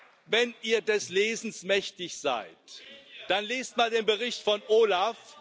ihr des Lesens mächtig seid, dann lest mal den Bericht des OLAF.